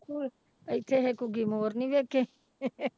ਇੱਥੇ ਇਹ ਘੁੱਗੀ ਮੋਰ ਨੀ ਵੇਖੇ